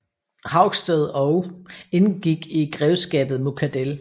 Haugsted og indgik i grevskabet Muckadell